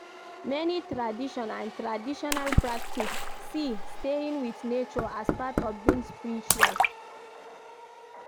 Many tradition and traditional practice see staying with nature as part of being spiritual